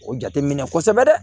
O jate minɛ kosɛbɛ dɛ